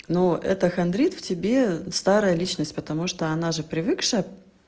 но это хандрит в тебе старая личность потому что она же привыкшая